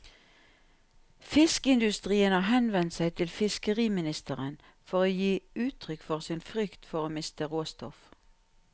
Fiskeindustrien har henvendt seg til fiskeriministeren for å gi uttrykk for sin frykt for å miste råstoff.